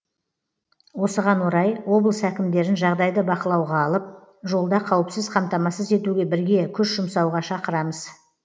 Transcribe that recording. осыған орай облыс әкімдерін жағдайды бақылауға алып жолда қауіпсіз қамтамасыз етуге бірге күш жұмсауға шақырамыз